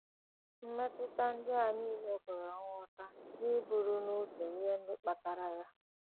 Mmetụta ndị a nile kwere nghọta n’iburu n’uche ihe ndị kpatara ha.